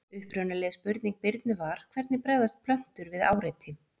Upprunaleg spurning Birnu var: Hvernig bregðast plöntur við áreiti?